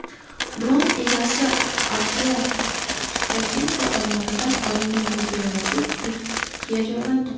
Dron egasi Artyom Tkachenko tomonidan olingan videoyozuv YouTube’ga joylandi.